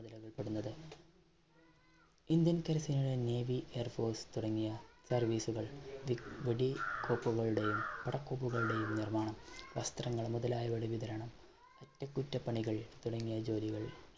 Indian കരസേന navy, airforce തുടങ്ങിയ service കൾ വെടികോപ്പുകളുടെയും, പടക്കോപ്പുകളുടെയും നിർമ്മാണം വസ്ത്രങ്ങൾ മുതലായവയുടെ വിതരണം അറ്റകുറ്റപ്പണികൾ തുടങ്ങിയ ജോലികൾ